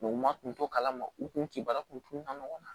u ma kun to kalama u kun ti baara kun ka nɔgɔya